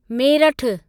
मेरठु